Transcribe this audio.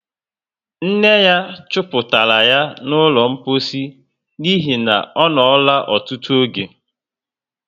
Nne ya chuputara yá ná ụlọ mposi n'ihi na onola ọtụtụ oge